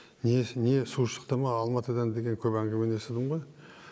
не не су шықты ма алматыдан деген көп әңгімені естідім ғой